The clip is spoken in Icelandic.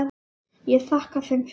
Ég þakkaði þeim fyrir.